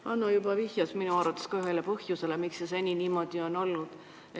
Hanno juba viitas minugi arvates ühele põhjusele, miks see seni niimoodi on olnud.